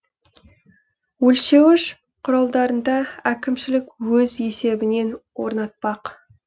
өлшеуіш құралдарында әкімшілік өз есебінен орнатпақ